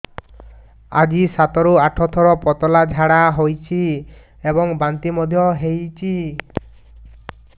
ଆଜି ସାତରୁ ଆଠ ଥର ପତଳା ଝାଡ଼ା ହୋଇଛି ଏବଂ ବାନ୍ତି ମଧ୍ୟ ହେଇଛି